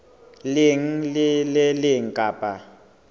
leng le le leng kapa